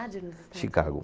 Dade nos Estados. Chicago.